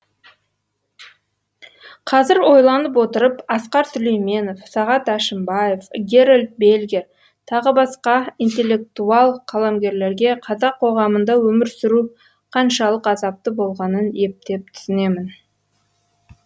қазір ойланып отырып асқар сүлейменов сағат әшімбаев герольд бельгер т б интеллектуал қаламгерлерге қазақ қоғамында өмір сүру қаншалық азапты болғанын ептеп түсінемін